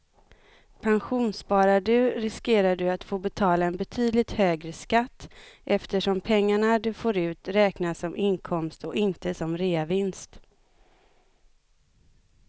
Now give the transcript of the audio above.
Pensionssparar du riskerar du att få betala en betydligt högre skatt eftersom pengarna du får ut räknas som inkomst och inte som reavinst.